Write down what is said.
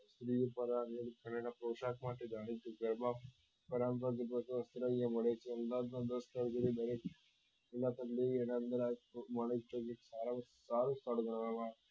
એના પોષક માટે જાણીતું છે એમાં સારો ભાગ ગણવા માં આવે